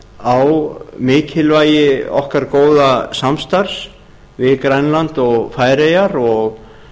á mikilvægi okkar góða samstarfs við grænland og færeyjar og